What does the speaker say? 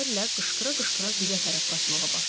kimi sözlərlə qışqıra-qışqıra bizə tərəf qaçmağa başladı.